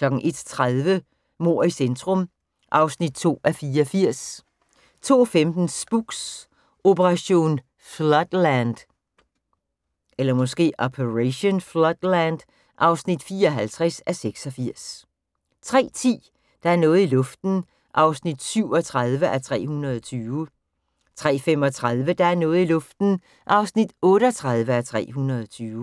01:30: Mord i centrum (2:84) 02:15: Spooks: Operation Floodland (54:86) 03:10: Der er noget i luften (37:320) 03:35: Der er noget i luften (38:320)